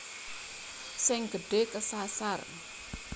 Sing gedhe kesasar